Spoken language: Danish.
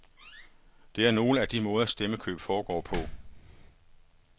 Det er nogle af de måder, stemmekøb foregår på.